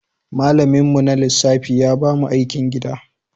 Malaminmu na lissafi ya ba mu aikin gida.